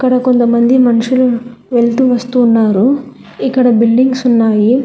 ఈడ కొంతమంది మనుషులు వెళుతూ వస్తూ ఉన్నారు ఇక్కడ బిల్డింగ్స్ ఉన్నాయి.